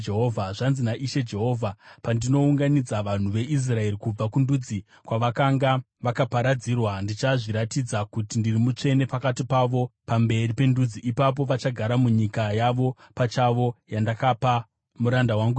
“ ‘Zvanzi naIshe Jehovha: Pandinounganidza vanhu veIsraeri kubva kundudzi kwavakanga vakaparadzirwa, ndichazviratidza kuti ndiri mutsvene pakati pavo pamberi pendudzi. Ipapo vachagara munyika yavo pachavo, yandakapa muranda wangu Jakobho.